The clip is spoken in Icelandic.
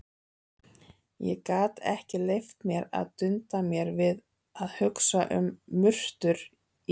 Ég gat ekki leyft mér að dunda mér við að hugsa um murtur í